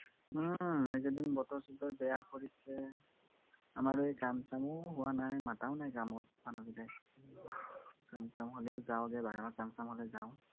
উম এইকেইদিন বতৰ চতৰ বেয়া কৰিছে। আমাৰ এই কাম চামো হোৱা নাই, মাতাও নাই কামত মানুহকিটাই, কাম চাম হলেও যাওগে, বাগানত কাম চাম হলে যাওঁ।